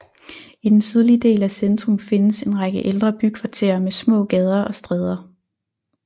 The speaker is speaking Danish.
I den sydlige del af centrum findes en række ældre bykvarterer med små gader og stræder